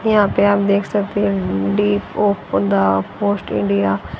यहां पर आप देख सकते हैं पोस्ट इंडिया --